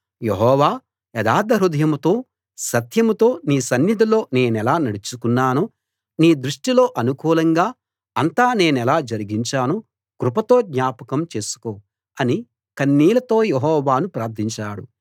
యెహోవా యథార్థ హృదయంతో సత్యంతో నీ సన్నిధిలో నేనెలా నడుచుకున్నానో నీ దృష్టిలో అనుకూలంగా అంతా నేనెలా జరిగించానో కృపతో జ్ఞాపకం చేసుకో అని కన్నీళ్ళతో యెహోవాను ప్రార్థించాడు